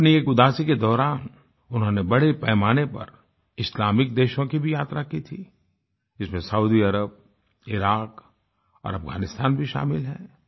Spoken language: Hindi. अपनी एक उदासी के दौरान उन्होंने बड़े पैमाने पर इस्लामिक देशों की भी यात्रा की थी जिसमें सौदी अरब इराक और अफगानिस्तान भी शामिल हैं